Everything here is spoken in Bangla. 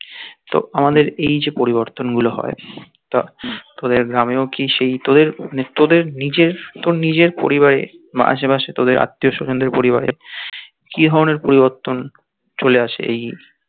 তো আমাদের এই যে পরিবর্তন গুলো হয় তা তোদের গ্রামেও কি সেই তোদের তোদের নিজের তো নিজের পরিবারের আশেপাশে তোদের আত্মীয় স্বজনদের পরিবারে কি ধরণের পরিবর্তন চলে আসে এই